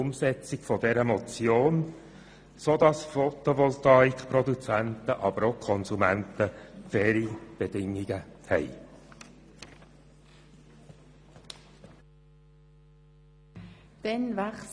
Vielmehr soll sie diese Motion umsetzen, sodass Photovoltaik-Produzenten, aber auch Konsumenten, faire Bedingungen vorfinden.